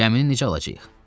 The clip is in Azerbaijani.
Gəmini necə alacağıq?